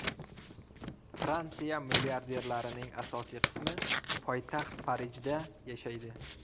Fransiya milliarderlarining asosiy qismi poytaxt Parijda yashaydi.